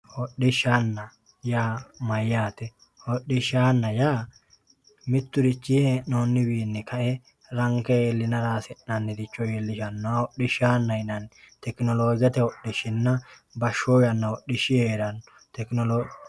hodhishshaanna yaa mayyaate? hodhishshaanna yaa mitturichinni hee'noonniwiinni ka'e ranke iilla hasi'nanniricho leelishsannoha hodhishaanna yinanni tekinoloojete hodhishinna bashhso hodhishi hee'ranno.